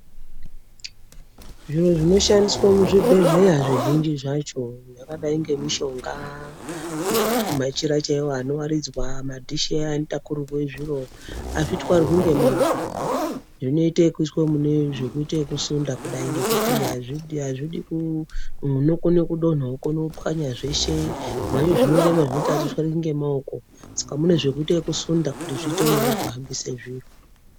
Zvinhu zvinoshandiswa muzvibhedhlera zvizhinji zvacho zvakadai nemishonga machira chaiwo anowaridzwa madhishi aya anotwarirwa zviro azvitwarwi nemaoko zvinoitwa yekuiswa kudai mekusunda ngekuti azvidi unokona kudonha kudai mopanya zveshe zvimweni zvinorema zvekuti atitwari nemaoko Saka zvimweni tinosunda kuti zviite nyore kuhambisa zviro.